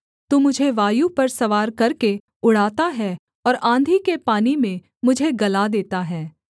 तू मुझे वायु पर सवार करके उड़ाता है और आँधी के पानी में मुझे गला देता है